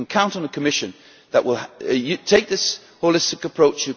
You can count on the Commission to take this holistic approach